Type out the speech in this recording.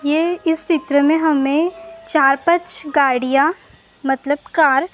ये इस चित्र में हमें चार पांच गाड़ियां मतलब कार ।